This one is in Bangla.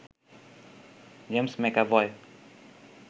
James McAvoy